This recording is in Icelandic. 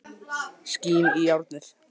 Skín í járnið.